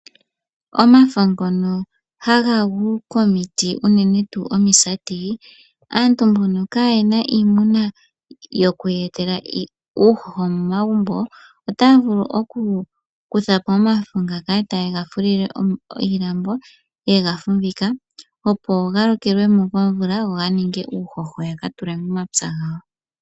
Omafa ngono haga gu komiti unene tu omisati, aantu mbono kayena iimuna yoku ya etele uuhoho momagumbo otaya vulu oku kuthapo omafo ngaka tayega fulile iilambo ye ga fumbika, opo ga lokelwemo komvula go ga ninge uuhoho ya ka tule momapya gawo.